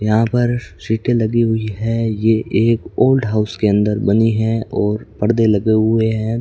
यहां पर सिटे लगी हुई है यह एक ओल्ड हाउस के अंदर बनी है और परदे लगे हुए हैं।